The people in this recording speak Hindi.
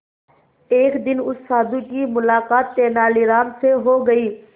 एक दिन उस साधु की मुलाकात तेनालीराम से हो गई